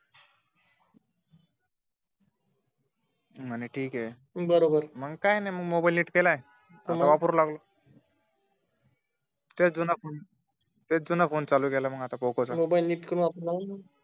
म्हणे ठीक आहे बरोबर मग काही नाही मोबाइल नीट केला आता वापरू लागलोय तेच जुना फोन चालू केला मग आता मोबाइल नीट करून